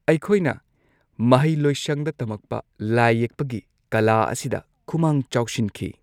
ꯑꯩꯈꯣꯢꯅ ꯃꯍꯩ ꯂꯣꯏꯁꯪꯗ ꯇꯝꯃꯛꯄ ꯂꯥꯢ ꯌꯦꯛꯄꯒꯤ ꯀꯂꯥ ꯑꯁꯤꯗ ꯈꯨꯃꯥꯡ ꯆꯥꯎꯁꯤꯟꯈꯤ꯫